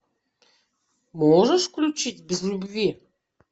можешь включить без любви